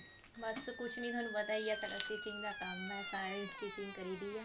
ਬੱਸ ਕੁੱਝ ਨੀ ਤੁਹਾਨੂੰ ਪਤਾ ਹੀ ਆ ਸਾਡਾ stitching ਦਾ ਕੰਮ ਆ ਤਾਂ ਇਹ stitching ਕਰੀਦੀਆ